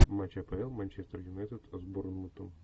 матч апл манчестер юнайтед с борнмутом